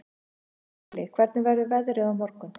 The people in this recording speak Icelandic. Krilli, hvernig verður veðrið á morgun?